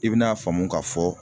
I bi n'a faamu ka fɔ